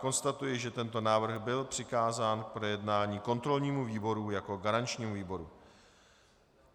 Konstatuji, že tento návrh byl přikázán k projednání kontrolnímu výboru jako garančnímu výboru.